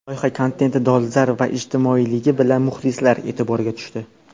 Loyiha kontenti dolzarb va ijtimoiyligi bilan muxlislar e’tiboriga tushdi.